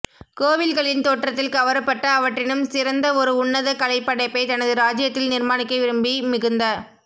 கோவில்களின் தோற்றத்தில் கவரப்பட்டு அவற்றினும் சிறந்த ஒரு உன்னத கலைப்படைப்பை தனது ராஜ்ஜியத்தில் நிர்மாணிக்க விரும்பி மிகுந்த